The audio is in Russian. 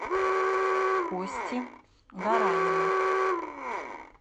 кости гаранина